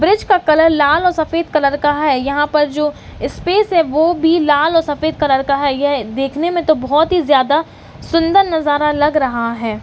Bridge का colour लाल और सफेद कलर का है यहां पर जो स्पेस है वो भी लाल और सफेद कलर का है यह देखने में तो बहोत ही ज्यादा सुन्दर नजारा लग रहा है।